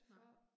Nej